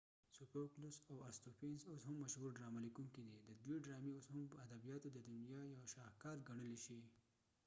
سو فوکلس او ارستوفینز اوس هم مشهور ډرامه لیکونکی دی ددوی ډرامی اوس هم ادبیاتو ددنیا یوه شاهکار ګڼلی شی